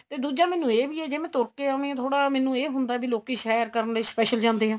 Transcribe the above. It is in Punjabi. ਤੇ ਦੂਜਾ ਮੈਨੂੰ ਇਹ ਵੀ ਏ ਜੇ ਮੈਂ ਤੁਰ ਕੇ ਆਵੇ ਥੋੜਾ ਮੈਨੂੰ ਇਹ ਵੀ ਹੁੰਦਾ ਕੀ ਲੋਕੀ ਸੈਰ ਕਰਨ ਲਈ special ਜਾਂਦੇ ਏ